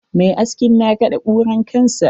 Mai askin na kaɗe kuran kansa.